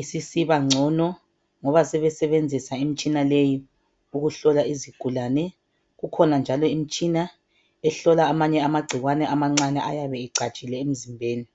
isisibangcono ngoba sebesebenzisa imtshina leyo ukuhlola isigulane kukhona njalo imitshina ehlola amanye abagcikwane amancane ayabebecatshile emzimbeni